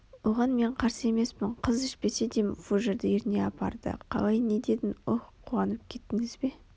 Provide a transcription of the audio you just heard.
оған мен қарсы емеспін қыз ішпесе де фужерді ерніне апарды Қалай не дедің оһ қуанып кеттініз бе